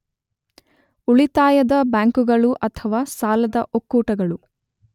ಉಳಿತಾಯದ ಬ್ಯಾಂಕುಗಳು ಅಥವಾ ಸಾಲದ ಒಕ್ಕೂಟಗಳು